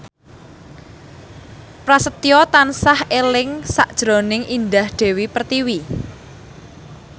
Prasetyo tansah eling sakjroning Indah Dewi Pertiwi